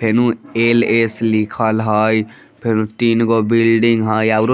fan L S लिखल है fan तीन गो बिल्डिंग है --